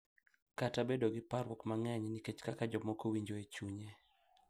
Kata bedo gi parruok mang’eny nikech kaka jomoko winjo e chunye.